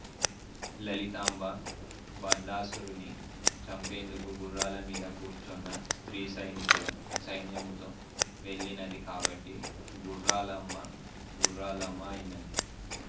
లలితాంబ భండాసురుణ్ణి చంపేందుకు గుర్రాలమీద కూర్చొన్న స్త్రీ సైనికుల సైన్యముతో వెళ్ళినది కాబట్టి గుర్రాలఅమ్మ గుర్రాలమ్మ అయినది